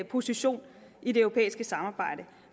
position i det europæiske samarbejde